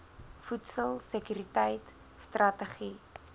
voedsel sekuriteit strategie